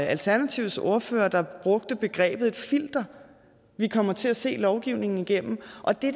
alternativets ordfører der brugte begrebet et filter vi kommer til at se lovgivningen igennem og det